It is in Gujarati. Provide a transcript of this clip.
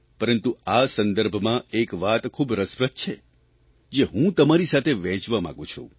પરંતુ આ સંદર્ભમાં એક વાત ખૂબ રસપ્રદ છે જે હું તમારી સાથે વહેંચવા માંગું છું